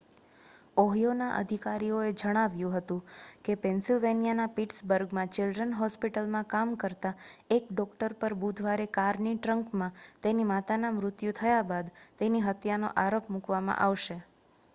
ઓહિયોના અધિકારીઓએ જણાવ્યું હતું કે પેન્સિલવેનિયાના પિટ્સબર્ગમાં ચિલ્ડ્રન્સ હોસ્પિટલમાં કામ કરતા એક ડૉક્ટર પર બુધવારે કારની ટ્રંકમાં તેની માતાનું મૃત્યુ થયા બાદ તેની હત્યાનો આરોપ મૂકવામાં આવશે